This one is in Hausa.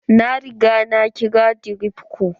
Na riga na kira dirop ko.